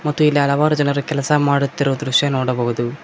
ಮತ್ತು ಇಲ್ಲಿ ಹಲವಾರು ಜನರು ಕೆಲಸ ಮಾಡುತ್ತಿರುವ ದೃಶ್ಯ ನೋಡಬಹುದು.